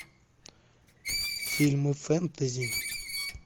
фильмы фэнтези